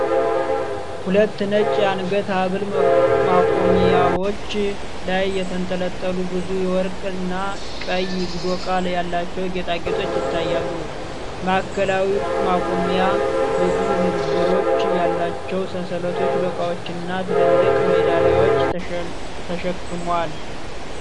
ሁለት ነጭ የአንገት ሐብል ማቆሚያዎች ላይ የተንጠለጠሉ ብዙ የወርቅ እና ቀይ ዶቃ ያላቸው ጌጣጌጦች ይታያሉ። ማዕከላዊው ማቆሚያ ብዙ ንብርብሮች ያላቸውን ሰንሰለቶች፣ ዶቃዎች እና ትልልቅ ሜዳሊያዎችን ተሸክሟል።